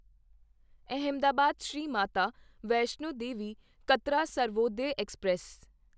Ahmedabad Shri Mata Vaishno Devi Katra Sarvodaya express